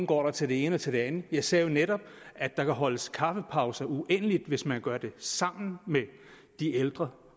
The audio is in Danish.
går til det ene og til det andet jeg sagde jo netop at der kan holdes kaffepauser uendelighed hvis man gør det sammen med de ældre